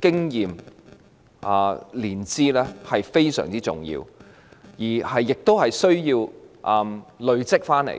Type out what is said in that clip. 經驗——是非常重要的，經驗需要累積而來。